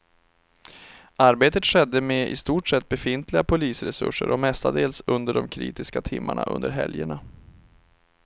Arbetet skedde med i stort sett befintliga polisresurser och mestadels under de kritiska timmarna under helgerna.